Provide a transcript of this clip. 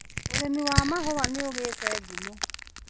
ũrĩmi wa mahũa nĩũgĩte ngumo.